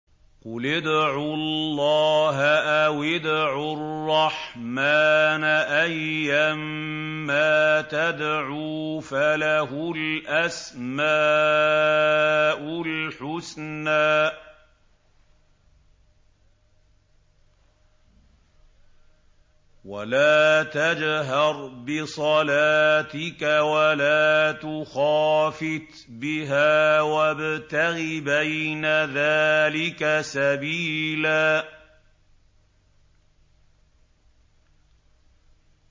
قُلِ ادْعُوا اللَّهَ أَوِ ادْعُوا الرَّحْمَٰنَ ۖ أَيًّا مَّا تَدْعُوا فَلَهُ الْأَسْمَاءُ الْحُسْنَىٰ ۚ وَلَا تَجْهَرْ بِصَلَاتِكَ وَلَا تُخَافِتْ بِهَا وَابْتَغِ بَيْنَ ذَٰلِكَ سَبِيلًا